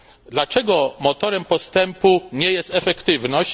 Dlaczego motorem postępu nie jest efektywność?